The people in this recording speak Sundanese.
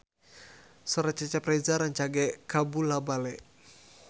Sora Cecep Reza rancage kabula-bale